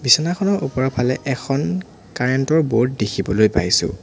বিচনাখনৰ ওপৰৰফালে এখন কাৰেণ্ট ৰ বৰ্ড দেখিবলৈ পাইছোঁ।